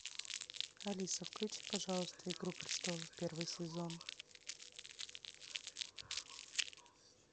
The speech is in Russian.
алиса включи пожалуйста игру престолов первый сезон